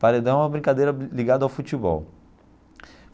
Paredão é uma brincadeira ligada ao futebol.